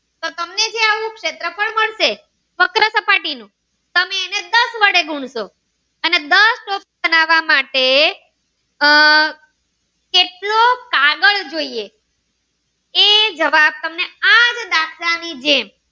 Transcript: સપાટી ને તમે એને દસ વડે ગુણસો અને દસ ટોપી બનાવ માટે એ આહ કેટલો કાગળ જોઈએ એ જવાબ તમને આ જ દાખલ ની જેમ.